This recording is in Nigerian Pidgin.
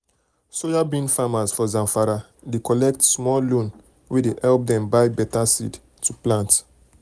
soyabean farmers for zamfara dey collect small loan wey dey help dem buy better seed to plant.